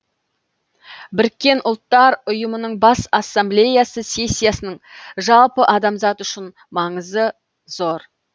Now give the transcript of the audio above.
біріккен ұттар ұйымының бас ассамблеясы сессиясының жалпы адамзат үшін маңызы зор